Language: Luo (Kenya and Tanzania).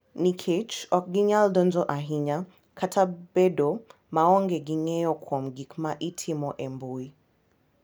Nikech ok ginyal donjo ahinya kata bedo maonge gi ng’eyo kuom gik ma itimo e mbui,